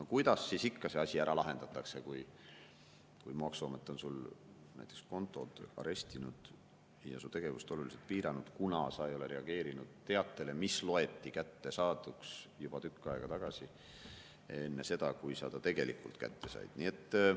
No kuidas siis ikka see asi ära lahendatakse, kui maksuamet on sul näiteks kontod arestinud ja su tegevust oluliselt piiranud, kuna sa ei ole reageerinud teatele, mis loeti kättesaaduks juba tükk aega tagasi, enne seda, kui sa ta tegelikult kätte said?